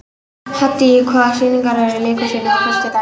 Haddý, hvaða sýningar eru í leikhúsinu á föstudaginn?